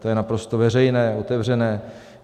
To je naprosto veřejné, otevřené.